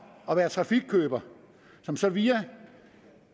at være trafikkøber som så via